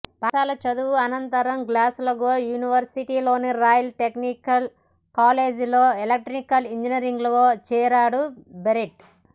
పాఠశాల చదువు అనంతరం గ్లాస్గో యూనివర్సిటీలోని రాయల్ టెక్నికల్ కాలేజీలో ఎలక్ట్రికల్ ఇంజనీరింగ్లో చేరాడు బెర్ట్